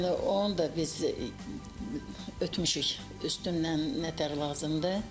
Yəni onun da biz ötmüşük üstündən nə tər lazımdır.